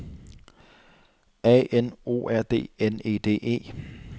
A N O R D N E D E